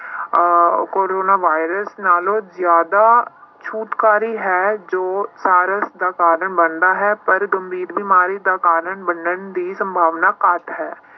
ਅਹ corona virus ਨਾਲੋਂ ਜ਼ਿਆਦਾ ਛੂਤਕਾਰੀ ਹੈ ਜੋ SARS ਦਾ ਕਾਰਨ ਬਣਦਾ ਹੈ ਪਰ ਗੰਭੀਰ ਬਿਮਾਰੀਆਂ ਦਾ ਕਾਰਨ ਮੰਨਣ ਦੀ ਸੰਭਾਵਨਾ ਘੱਟ ਹੈ।